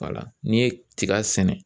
n'i ye tiga sɛnɛ